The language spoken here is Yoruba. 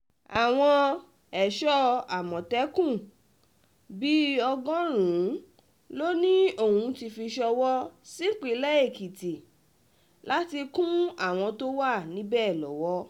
àwọn ẹ̀ṣọ́ àmọ̀tẹ́kùn bíi ọgọ́rùn-ún ló um ní òún ti fi ṣọwọ́ um sípínlẹ̀ èkìtì láti kún àwọn tó wà níbẹ̀ lọ́wọ́